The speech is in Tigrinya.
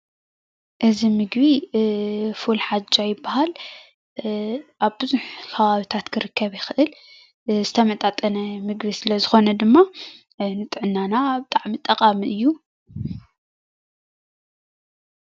እዚ ምግቢ ፉል ሓጃ ይባሃል። አብ ብዙሕ ከባብታት ክርከብ ይክእል። ዝተመጣጠነ ምግቢ ስለ ዝኾነ ድማ ንጥዕናና ብጣዕሚ ጠቓሚ እዩ።